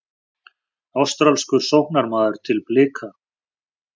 Ástralskur sóknarmaður til Blika